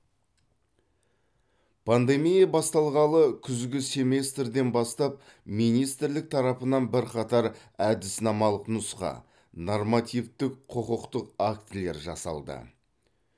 пандемия басталғалы күзгі семестрден бастап министрлік тарапынан бірқатар әдіснамалық нұсқа нормативтік құқықтық актілер жасалды